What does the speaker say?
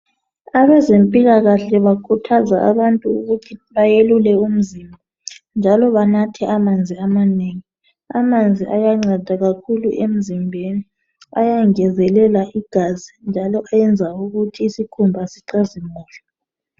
Abezempilakahle bakhuthaza abantu ukuthi bayelule umzimba njalo banathe amanzi amanengi amanzi ayanceda kakhulu emzimbeni ayangezelela igazi njalo ayenza ukuthi isikhuma sicazimule